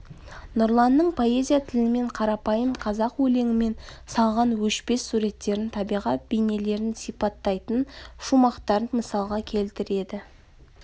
нұрланның поэзия тілімен қарапайым қазақ өлеңімен салған өшпес суреттерін табиғат бейнелерін сипаттайтын шумақтарын мысалға келтіреді